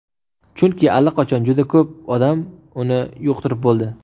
Chunki allaqachon juda ko‘p odam uni yuqtirib bo‘ldi.